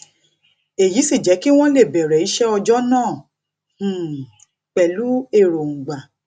èyí sì jé kí wón lè bèrè iṣé ọjó náà um pẹlú èròngbà